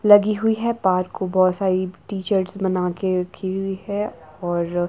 लगी हुई है पार्क को बहोत सारी टी_शर्ट बनाकर रखी हुई है और--